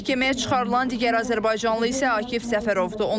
Məhkəməyə çıxarılan digər azərbaycanlı isə Akif Səfərovdur.